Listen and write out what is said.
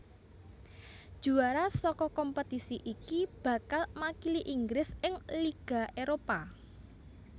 Juara saka kompetisi iki bakal makili Inggris ing Liga Éropah